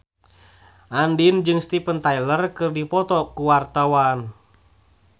Andien jeung Steven Tyler keur dipoto ku wartawan